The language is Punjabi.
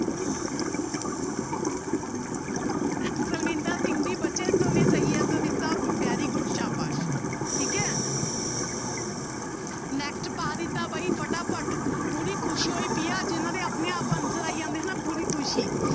ਪਰਵਿੰਦਰ ਸਿੰਘ ਜੀ ਬੱਚੇ ਤੁਹਾਨੇ ਸਹੀ answer ਦਿੱਤਾ very good ਸਾਬਾਸ਼ ਠੀਕ ਹੈ next ਪਾ ਦਿੱਤਾ ਬਾਈ ਫਟਾਫਟ ਪੂਰੀ ਖ਼ੁਸ਼ੀ ਹੋਈ ਪਈ ਆ ਜਿਹਨਾਂ ਦੇ ਆਪਣੇ ਆਪ answer ਆਈ ਜਾਂਦੇ ਆ ਨਾ ਪੂਰੀ ਖ਼ੁਸ਼ੀ।